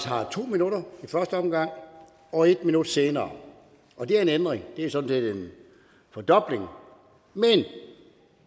har to minutter i første omgang og en minut senere og det er en ændring det er sådan set en fordobling men